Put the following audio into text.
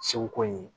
Segu ko ye